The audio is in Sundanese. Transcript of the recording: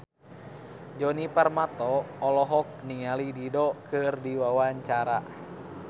Djoni Permato olohok ningali Dido keur diwawancara